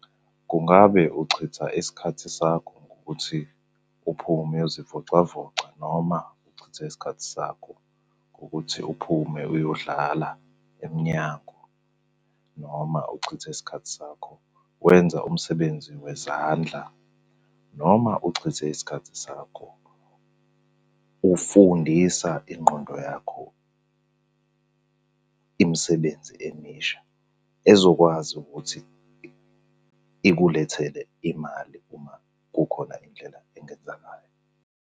Kungabe uchitha isikhathi sakho ngokuthi uphume uyozivocavoca noma uchitha isikhathi sakho ngokuthi uphume uyodlala emnyango, noma uchitha isikhathi sakho wenza umsebenzi wezandla, noma uchitha isikhathi sakho ufundisa ingqondo yakho imisebenzi emisha ezokwazi ukuthi ikulethele imali uma kukhona indlela engenza ngayo?